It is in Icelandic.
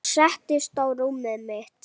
Hún settist á rúmið mitt.